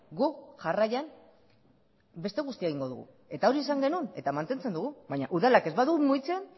guk jarraian beste guztia egingo dugu eta hori esan genuen eta mantentzen dugu baina udalak ez badu mugitzen